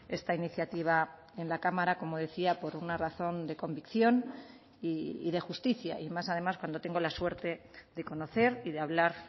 esta iniciativa en la cámara como decía por una razón de convicción y de justicia y más además cuando tengo la suerte de conocer y de hablar